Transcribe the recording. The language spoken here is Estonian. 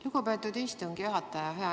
Lugupeetud istungi juhataja!